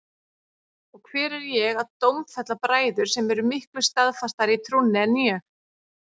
Og hver er ég að dómfella bræður sem eru miklu staðfastari í trúnni en ég?